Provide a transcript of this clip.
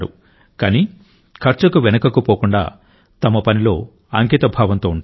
కానీ ఖర్చుకు వెనుకకు పోకుండా తన పనిలో అంకితభావంతో ఉంటారు